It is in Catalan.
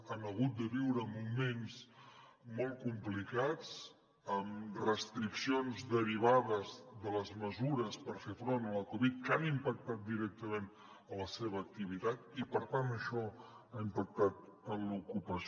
han hagut de viure moments molt complicats amb restriccions derivades de les mesures per fer front a la covid que han impactat directament en la seva activitat i per tant això ha impactat en l’ocupació